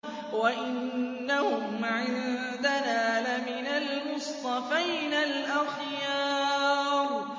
وَإِنَّهُمْ عِندَنَا لَمِنَ الْمُصْطَفَيْنَ الْأَخْيَارِ